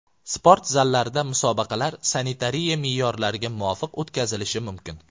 Sport zallarida musobaqalar sanitariya me’yorlariga muvofiq o‘tkazilishi mumkin.